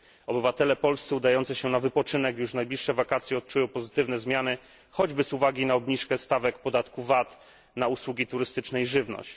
Obywatele polscy udający się na wypoczynek już w najbliższe wakacje odczują pozytywne zmiany, choćby z uwagi na obniżkę stawek podatku VAT na usługi turystyczne i żywność.